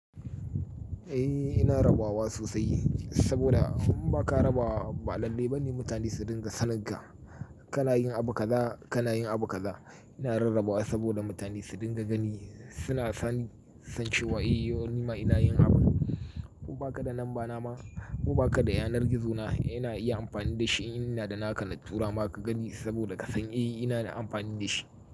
Eh ina rabawa sosai saboda in ba ka rabawa ba lallai bani mutane su dinga sanarwa ka na yin abu kaza ka na yin abu kaza. Ina rarrabawa saboda mutane su dinga gani suna sanancewa eh yo nima ina yin abu. Ku baka da lambana ma ku baka da yanar gizo na ina iya amfani da shi in ina da naka na tura ma ka gani saboda ka san eh ina da amfani da shi.